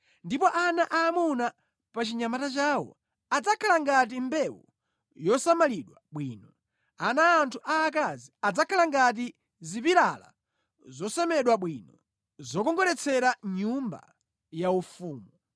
Ndipo ana aamuna pa chinyamata chawo adzakhala ngati mbewu yosamalidwa bwino, ana athu aakazi adzakhala ngati zipilala zosemedwa bwino, zokongoletsera nyumba yaufumu.